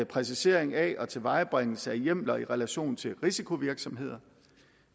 præcisering af og tilvejebringelse af hjemler i relation til risikovirksomheder